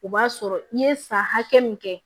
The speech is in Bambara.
O b'a sɔrɔ i ye san hakɛ min kɛ